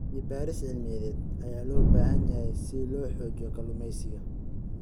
Cilmi baaris cilmiyeed ayaa loo baahan yahay si loo xoojiyo kalluumeysiga.